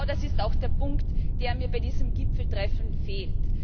Genau das ist auch der Punkt, der mir bei diesem Gipfeltreffen fehlt.